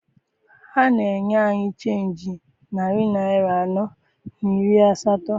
Ha na-enye anyị chenji narị naịra anọ na iri asatọ.